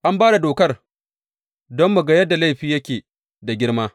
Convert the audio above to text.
An ba da dokar don mu ga yadda laifi yake da girma.